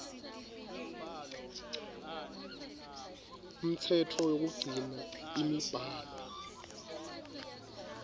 umtsetfo wekugcina imibhalo